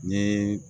Ni